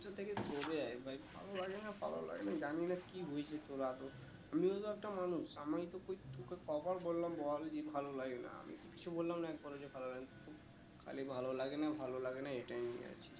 ওখান থেকে চলে আয়ে ভাই ভালো লাগে না ভালো লাগে না জানি না কি হয়েছে তোর আদৌ আমিও তো একটা মানুষ আমি তো কোই তোকে ক বার বললাম বল যে ভালো লাগে না আমি কিছু বললাম না একবার ও যে ভালো লাগে খালি ভালো লাগে না ভালো লাগে না এইটাই বলে যাচ্ছিস